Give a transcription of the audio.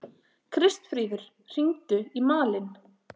Kristfríður, hringdu í Malin.